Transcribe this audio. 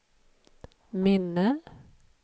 minne